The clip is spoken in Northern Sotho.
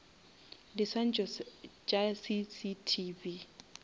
diswantšho tša cctv